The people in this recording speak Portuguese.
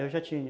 Eu já tinha.